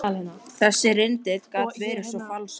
Þessi litli rindill gat verið svo falskur.